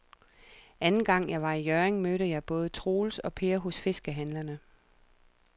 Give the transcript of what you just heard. Anden gang jeg var i Hjørring, mødte jeg både Troels og Per hos fiskehandlerne.